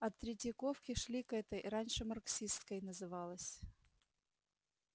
от третьяковки шли к этой раньше марксистской называлась